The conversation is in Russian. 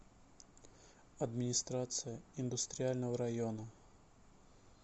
администрация индустриального района